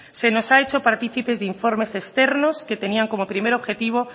se nos ha hecho participes de informes externos que tenían como primer objetivo